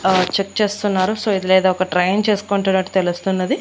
ఆ చెక్ చేస్తున్నారు సో ఇది లేదా ఒక ట్రైన్ చేసుకుంటున్నట్టు తెలుస్తున్నది.